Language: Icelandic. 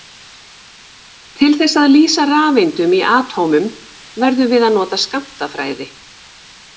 Til þess að lýsa rafeindum í atómum verðum við að nota skammtafræði.